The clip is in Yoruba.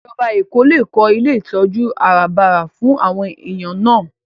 Ìjọba Èkó lè kó ilé ìtọ́jú àràbarà fún àwọn èèyàn náà